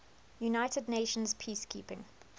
united nations peacekeeping